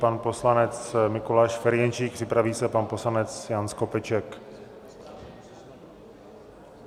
Pan poslanec Mikuláš Ferjenčík, připraví se pan poslanec Jan Skopeček.